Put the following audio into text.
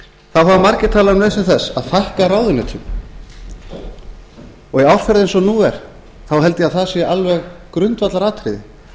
hafa margir talað um nauðsyn þess að fækka ráðuneytum og í árferði eins og nú er þá held ég að það sé alveg grundvallaratriði